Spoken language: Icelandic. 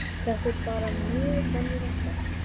Þetta er bara mjög venjulegt barn.